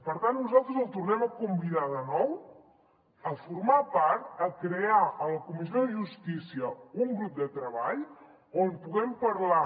per tant nosaltres el tornem a convidar de nou a formar part a crear a la comissió de justícia un grup de treball on puguem parlar